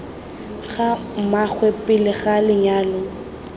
ga mmaagwe pele ga lenyalo